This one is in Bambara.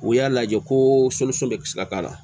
U y'a lajɛ ko bɛ se ka k'a la